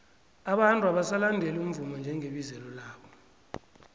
abantu abasalandeli umvumo njengebizelo labo